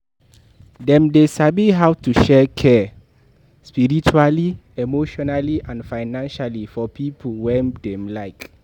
Dem de sabi how to show care spiritually emotionally and financially for pipo wey dem Like